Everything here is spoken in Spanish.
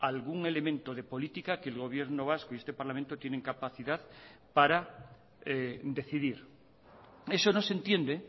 algún elemento de política que el gobierno vasco y este parlamento tienen capacidad para decidir eso no se entiende